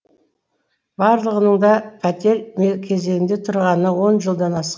барлығының да пәтер кезегінде тұрғанына он жылдан ас